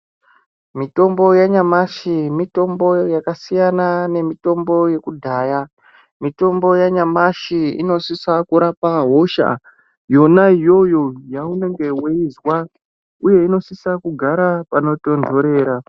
Mitombo yanyamashi mitombo yakasiyana nemitombo yekudhaya. Mitombo yanyamashi inosisa kurapa hosha yona iyoyo yaunenge veizwa, uye inosisa kugara panotonhorera.